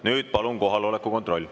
Nüüd palun kohaloleku kontroll.